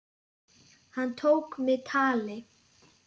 Hann tók mig tali.